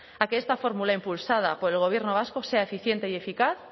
a que esta fórmula impulsada por el gobierno vasco sea eficiente y eficaz